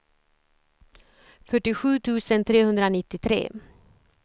fyrtiosju tusen trehundranittiotre